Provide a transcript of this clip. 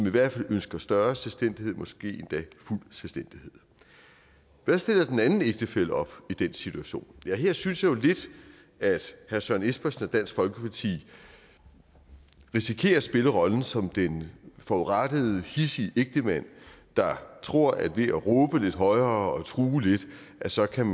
i hvert fald ønsker større selvstændighed måske endda fuld selvstændighed hvad stiller den anden ægtefælle op i den situation ja her synes jeg jo lidt at herre søren espersen og dansk folkeparti risikerer at spille rollen som den forurettede hidsige ægtemand der tror at han ved at råbe lidt højere og true lidt så kan